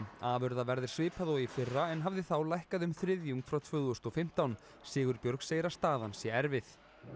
afurðaverð er svipað og í fyrra en hafði þá lækkað um þriðjung frá tvö þúsund og fimmtán Sigurbjörg segir að staðan sé erfið